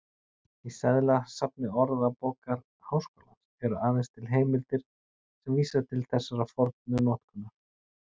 Í seðlasafni Orðabókar Háskólans eru aðeins til heimildir sem vísa til þessarar fornu notkunar.